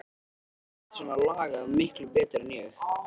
Þú manst allt svona lagað miklu betur en ég.